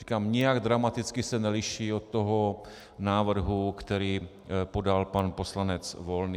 Říkám, nijak dramaticky se neliší od toho návrhu, který podal pan poslanec Volný.